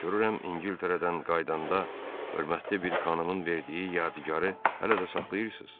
Görürəm İngiltərədən qayıdanda hörmətli bir xanımın verdiyi yadigarı hələ də saxlayırsız?